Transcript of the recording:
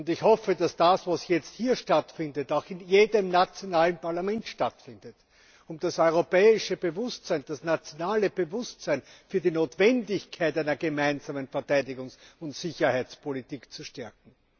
Ich hoffe, dass das, was jetzt hier stattfindet, auch in jedem nationalen Parlament stattfindet, um das europäische Bewusstsein, das nationale Bewusstsein für die Notwendigkeit einer gemeinsamen Verteidigungs und Sicherheitspolitik zu stärken.